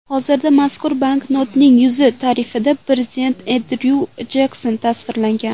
Hozirda mazkur banknotning yuz tarafida prezident Endryu Jekson tasvirlangan.